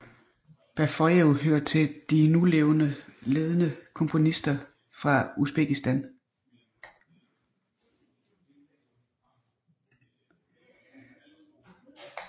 Bafoyev hører til de nulevende ledende komponister fra Usbekistan